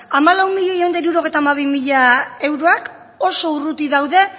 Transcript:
hamalau milioi ehun eta hirurogeita hamabi mila euroak oso urruti daude